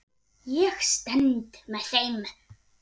Ég stend með þeim.